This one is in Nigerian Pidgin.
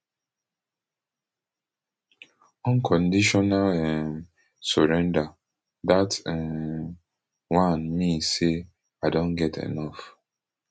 unconditional um surrender dat um one mean say i don get enof